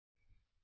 નમસ્તે મિત્રો